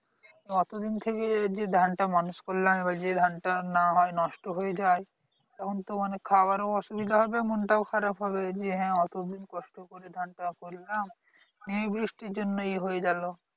অতদিন থেকে যে ধানটা মানুষ করলাম এবার যদি ধানটা না হয় নষ্ট হয়ে যায় তখন তো মানে খাবার ও অসুবিধা হবে মনটাও খারাপ হবে যে হ্যাঁ অতদিন কষ্ট করে ধানটা করলাম এই বৃষ্টির জন্যই নষ্ট হয়ে গেলো